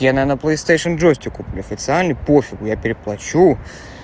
я наверное плэйстэйшн джойстик куплю официальный по-фигу я переплачу